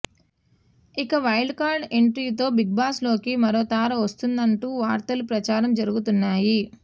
ఇక wild card ఎంట్రీతో బిగ్బాస్లోకి మరో తార వస్తున్నదంటూ వార్తలు ప్రచారం జరుగుతున్నాయి